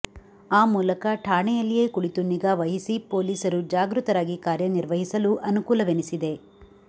ಅ ಮೂಲಕ ಠಾಣೆಯಲ್ಲಿಯೇ ಕುಳಿತು ನಿಗಾವಹಿಸಿ ಪೊಲೀಸರು ಜಾಗೃತರಾಗಿ ಕಾರ್ಯ ನಿರ್ವಹಿಸಲು ಅನುಕೂಲವೆನಿಸಿದೆ